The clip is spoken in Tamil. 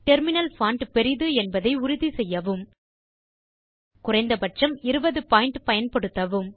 டெர்மினல் பான்ட் பெரிது என்பதை உறுதி செய்யவும்குறைந்த பட்சம் 20 பாயிண்ட் பயன்படுத்தவும்